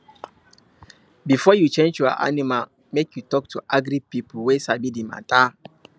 before you change your animal make you talk to agric people wey sabi the matter